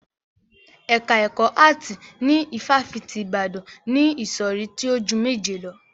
Ẹ̀ka ẹkọ áàtì ní ifáfitì Ibadan ni ìsọ̀rí tí o ju méje lọ.